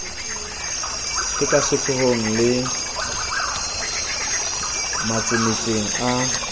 e kasehloohong le matsemeng a